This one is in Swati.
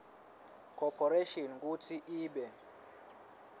corporation kutsi ibe